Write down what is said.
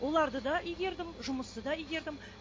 оларды да игердім жұмысты да игердім